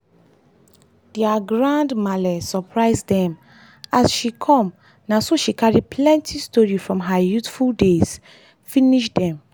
dia grand malle surprise dem as she come na so she carry plenty story from her youthful days finish dem.